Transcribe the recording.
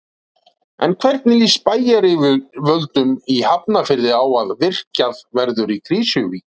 En hvernig líst bæjaryfirvöldum í Hafnarfirði á að virkjað verði í Krýsuvík?